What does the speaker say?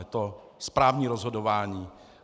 Je to správní rozhodování.